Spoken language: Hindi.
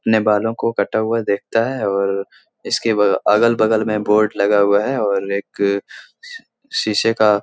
ने बालों को कटा हुआ देखता है और इसके बा अगल-बगल में बोर्ड लगा हुआ है और एक अ शी शीशे का --